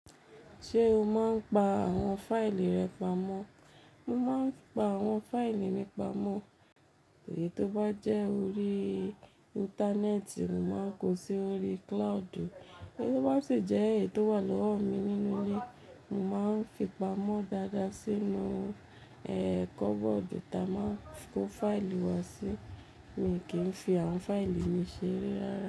Ṣé o máa ń pa àwọn fáìlì rẹ pamọ́? Mo máa ń pa àwọn fáìlì mi pamọ́, èyí tó bá jẹ́ orí Íńtánẹ́ẹ̀tì, mo máa ń kó sí orí cloud, èyí tó bá sì jẹ́ èyí tó wà lọ́wọ́ mi nínú ilé, mo máa ń fi pamọ́ dáadáa sínú, ẹ, kọ́bọ́ọ̀dù ta máa ń kó fáìlì wá sí. Èmi kì í fi àwọn fáìlì mi ṣeré rárá.